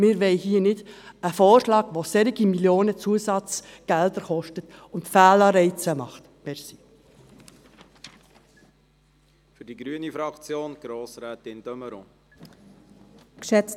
Wir wollen hier keinen Vorschlag, der so viele Millionen an Zusatzgeldern kostet und Fehlanreize setzt.